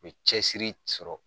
U be cɛsiri sɔrɔ